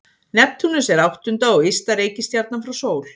Neptúnus er áttunda og ysta reikistjarnan frá sól.